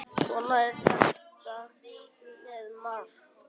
Svona er þetta með margt.